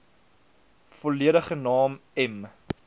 volledige naam m